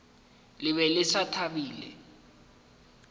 le be le sa thabile